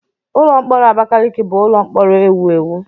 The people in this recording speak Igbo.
Ụlọ mkpọrọ Abakaliki bụ ụlọ mkpọrọ ewu ewu.